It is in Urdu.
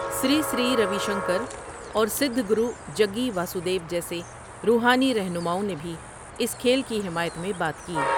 سری سری روی شنکر، اور سدھ گرو جگّی واسودیو جیسے روحانی رہنماؤں نے بھی اس کھیل کی حمایت میں بات کی۔